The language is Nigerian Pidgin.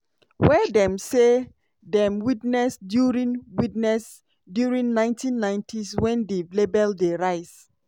wey dem say dem witness during witness during ninety ninetys wen di label dey rise.